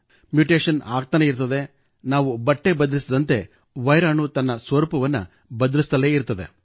mutation ಆಗುತ್ತಲೇ ಇರುತ್ತದೆ ನಾವು ಬಟ್ಟೆ ಬದಲಿಸಿದಂತೆ ವೈರಾಣು ತನ್ನ ಸ್ವರೂಪವನ್ನು ಬದಲಿಸುತ್ತಲೇ ಇರುತ್ತದೆ